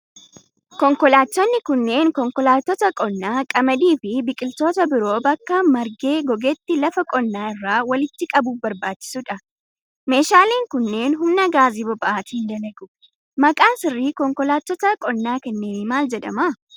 Konkoolaattonnni kunneen konkolaattota qonnaa, qamadii fi biqiloota biroo bakka margee gogetti lafa qonnaa irraa walitti qabuuf barbaachisuu dha. Meeshaaleen kunneen, humna gaasii boba'aatin dalagu. Maqaan sirrii konkolaattota qonnaa kanneenii maal jedhama?